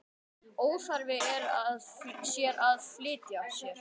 Óþarfi sé að flýta sér.